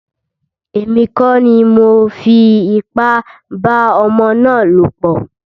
Èmi kọ́ ni mọ fi ipá bá ọmọ ná lọ̀ pọ̀.